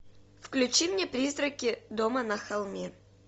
включи мне призраки дома на холме